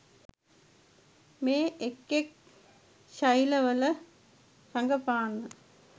මේ එක් එක් ශෛලිවල රඟපාන්න.